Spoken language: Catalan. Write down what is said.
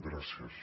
gràcies